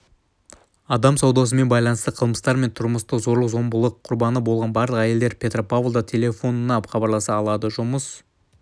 адам саудасымен байланысты қылмыстар мен тұрмыстық зорлық-зомбылық құрбаны болған барлық әйелдер петропавлда телефонына хабарласа алады жұмыс